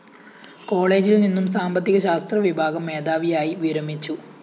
കോളേജില്‍നിന്നും സാമ്പത്തിക ശാസ്ത്രവിഭാഗം മേധാവിയായി വിരമിച്ചു